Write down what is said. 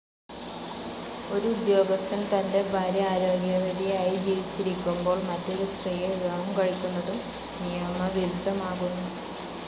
ഒരു ഉദ്യോഗസ്ഥൻ തന്റെ ഭാര്യ ആരോഗ്യവതിയായി ജീവിച്ചിരിക്കുമ്പോൾ മറ്റൊരു സ്ത്രീയെ വിവാഹം കഴിക്കുന്നതും നിയമവിരുദ്ധമാകുന്നു.